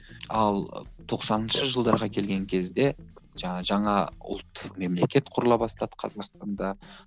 ал тоқсаныншы жылдарға келген кезде жаңа жаңа ұлттық мемлекет құрыла бастады қазақстанда